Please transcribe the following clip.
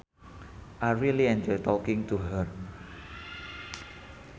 I really enjoy talking to her